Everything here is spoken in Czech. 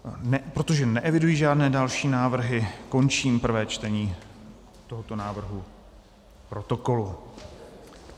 Protože neeviduji žádné další návrhy, končím prvé čtení tohoto návrhu protokolu.